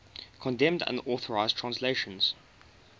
condemned unauthorized translations